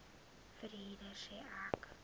verhuurder sê ek